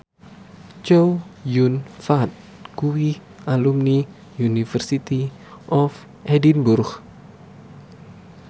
Chow Yun Fat kuwi alumni University of Edinburgh